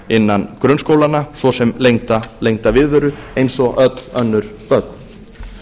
innan grunnskólanna svo sem lengda viðveru eins og öll önnur börn